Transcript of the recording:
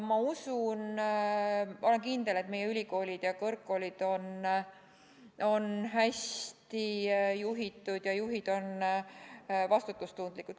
Ma usun, õieti olen kindel, et meie ülikoolid ja kõrgkoolid on hästi juhitud ja juhid on vastutustundlikud.